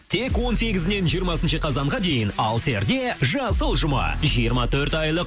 тек он сегізінен жиырмасыншы қазанға дейін алсерде жасыл жұма жиырма төрт айлық